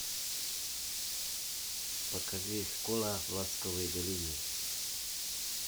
покажи школа в ласковой долине